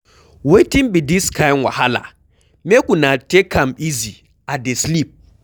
Wetin be dis kin wahala?make una take am easy, I dey sleep.